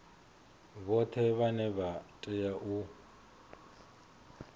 vhoṱhe vhane vha tea u